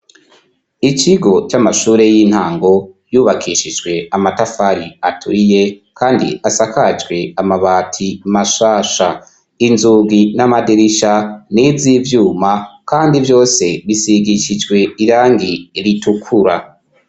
Ikigo c'amashure y'intango yubakishijwe amatafari aturiye kandi asakajwe amabati mashasha inzugi n'amadirisha n'izivyuma kandi vyose bisigishijwe irangi ritukura.